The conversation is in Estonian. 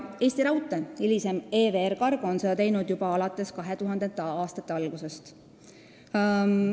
Eesti Raudtee, hiljem EVR Cargo, on seda teinud juba alates 2000. aastate algusest.